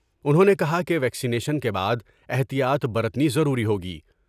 انھوں نے کہا کہ ویکسینیشن کے بعد احتیاط برتنی ضروری ہوگی ۔